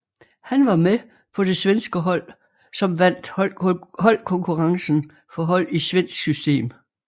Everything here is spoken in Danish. Han var med på det svenske hold som vandt holdkonkurrencen for hold i svensk system